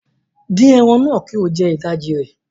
Fry the meat and eat half of it